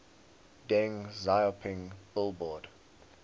deng xiaoping billboard